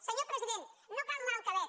senyor president no cal anar al quebec